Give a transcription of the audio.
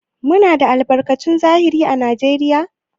Muna da albarkatun zahiri à Najeriya?